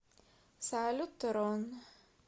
салют рон